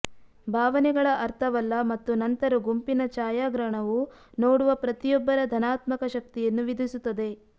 ಭಾವನೆಗಳ ಅರ್ಥವಲ್ಲ ಮತ್ತು ನಂತರ ಗುಂಪಿನ ಛಾಯಾಗ್ರಹಣವು ನೋಡುವ ಪ್ರತಿಯೊಬ್ಬರ ಧನಾತ್ಮಕ ಶಕ್ತಿಯನ್ನು ವಿಧಿಸುತ್ತದೆ